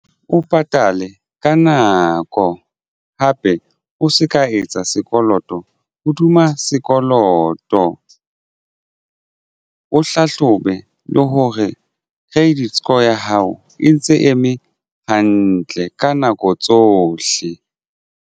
O patale ka nako hape o se ka etsa sekoloto hoduma sekoloto. O hlahlobe le hore credit score ya hao e ntse eme hantle ka nako tsohle.